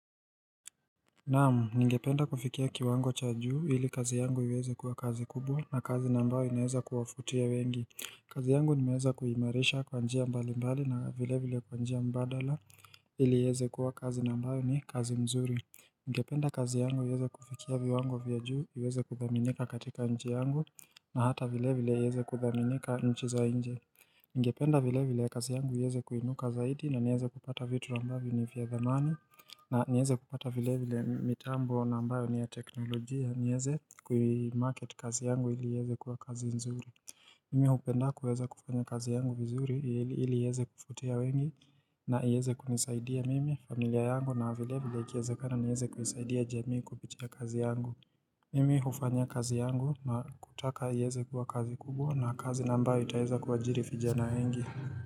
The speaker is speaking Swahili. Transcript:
Naam, ningependa kufikia kiwango cha juu ili kazi yangu iweze kuwa kazi kubwa na kazi nambao inaweza kuwafutia wengi kazi yangu nimeweza kuimarisha kwa njia mbali mbali na vile vile kwa njia mbadala ili iweze kuwa kazi nambao ni kazi mzuri Ningependa kazi yangu iweze kufikia viwango vya juu iweze kuthaminika katika nchi yangu na hata vile vile iweze kuthaminika nchi za nje Ningependa vile vile ya kazi yangu iweze kuinuka zaidi na niweze kupata vitu ambavyo ni vya thamana na niweze kupata vile vile mitambo na ambayo ni ya teknolojia niweze kui market kazi yangu ili iweze kuwa kazi nzuri Mimi hupenda kuweza kufanya kazi yangu vizuri ili iweze kufutia wengi na ieze kunisaidia mimi, familia yangu na vile vile ikiezekana niweze kuisaidia jamii kupitia kazi yangu Mimi hufanya kazi yangu na kutaka ieze kuwa kazi kubwq na kazi naambayo itaeza kuwaajiri vijana wengi.